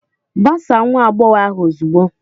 Gbasaa nwa agbọghọ ahụ ozugbo!